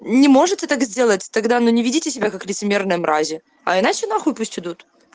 не можете так сделать тогда но не ведите себя как лицемерные мрази а иначе нахуй пусть идут